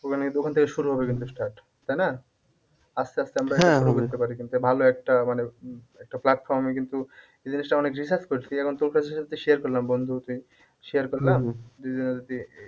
তাই না? আস্তে আস্তে আমরা ভালো একটা মানে উম একটা platform এ কিন্তু এই জিনিসটা অনেক research করেছি এখন তোর কাছে যেহেতু share করলাম বন্ধু তুই share করলাম